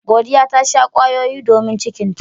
Godiya ta sha kwayoyi domin cikinta.